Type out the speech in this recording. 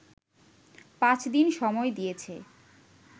পাঁচদিন সময় দিয়েছে